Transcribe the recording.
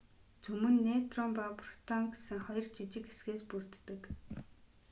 цөм нь нейтрон ба протон гэсэн хоёр жижиг хэсгээс бүрддэг